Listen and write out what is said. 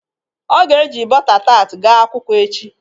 O ga-e ji bọta tat ga akwụkwọ echi.